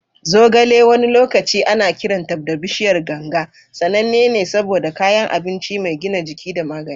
Zogale, wani lokaci ana kiranta da "bishiyar ganga," sananne ne saboda kayan abinci mai gina jiki da magani.